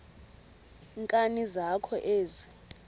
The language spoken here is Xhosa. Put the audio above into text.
nkani zakho ezi